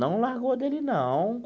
Não largou dele, não.